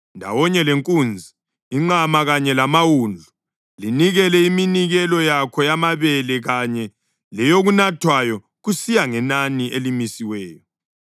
Ndawonye lenkunzi, inqama kanye lamawundlu, linikele iminikelo yakho yamabele kanye leyokunathwayo kusiya ngenani elimisiweyo.